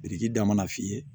Biriki da mana f'i ye